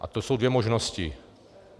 A to jsou dvě možnosti.